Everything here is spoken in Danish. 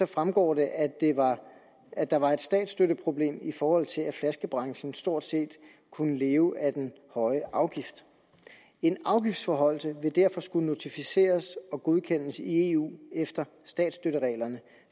fremgår det at at der var et statsstøtteproblem i forhold til at flaskebranchen stort set kunne leve af den høje afgift en afgiftsforhøjelse vil derfor skulle notificeres og godkendes i eu efter statsstøttereglerne